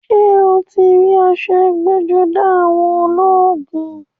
Ṣé o ti rí aṣọ ẹgbẹ́-jọdá àwọn ológun?